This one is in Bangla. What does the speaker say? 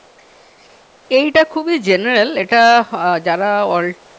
এইটা খুবই general এটা আহ যারা